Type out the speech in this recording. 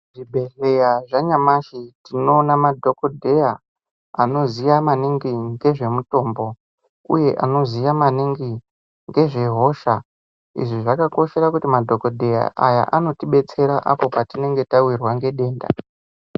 Zvibhedhleya zvanyamashi tinoona madhokodheya anoziya maningi ngezvemutombo uye anoziya maningi ngezvehosha izvi zvakakoshera kuti madhokodheya aya anotibetsera apo patinenge tawirwa nedenda.